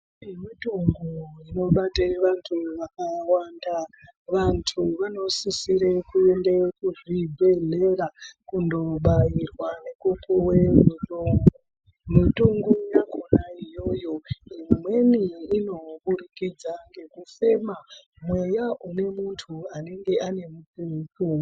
Yemitombo inobate vantu vakawanda vantu vanosisire kuende kuzvibhedhlera kundobairwa nekupuwe mutombo mutongo yakhona iyoyo imweni inoburikidza ngekufema mweya une muntu anenge anemukwo kwo.